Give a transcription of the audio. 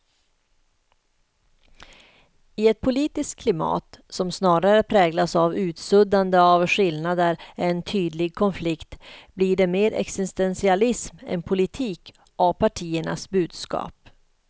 I ett politiskt klimat som snarare präglas av utsuddande av skillnader än tydlig konflikt blir det mer existentialism än politik av partiernas budskap.